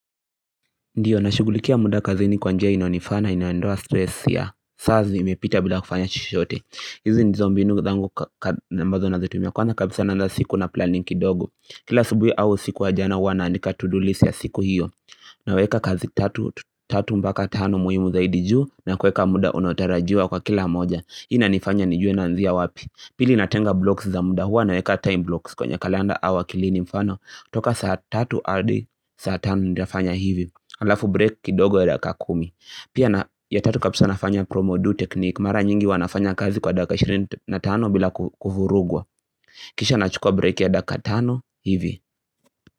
Ndiyo, nashughulikia muda kazini kwa njia inayonifaa na inaondoa stress ya saa zimepita bila kufanya chochote. Hizi nizo mbinu zangu ambazo nazitumia, kwanza kabisa naanza siku na planning kidogo. Kila asubuhi au siku wa jana huwa naandika to do list ya siku hiyo Naweka kazi tatu mpaka tano muhimu zaidi juu na kueka muda unotarajiwa kwa kila moja. Hii inanifanya nijue naanzia wapi. Pili, natenga blocks za muda huwa naweka time blocks kwenye kalenda au akilini mfano Toka saa tatu hadi, saa tano nitafanya hivi Alafu break kidogo ya dakika kumi Pia na, ya tatu kabisa nafanya promo do technique Mara nyingi huwa nafanya kazi kwa dakika 25 bila kuvurugwa Kisha nachukua break ya dakika 5 hivi.